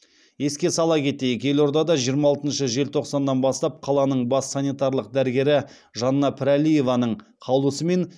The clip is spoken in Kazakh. еске сала кетсек елордада жиырма алтыншы желтоқсаннан бастап қаланың бас санитарлық дәрігері жанна пірәлиеваның қаулысымен